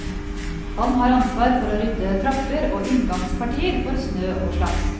Han har ansvar for å rydde trapper og inngangspartier for snø og slaps.